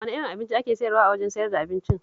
Wane irin abinci ake sayarwa a wajen sayar da abincin?